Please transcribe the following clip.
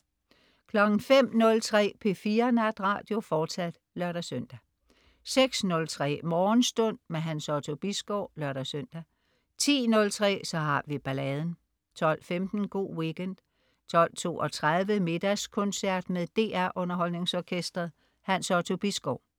05.03 P4 Natradio, fortsat (lør-søn) 06.03 Morgenstund. Hans Otto Bisgaard (lør-søn) 10.03 Så har vi balladen 12.15 Go' Weekend 12.32 Middagskoncert. Med DR Underholdningsorkestret. Hans Otto Bisgaard